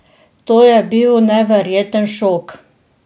To je bil neverjeten šok.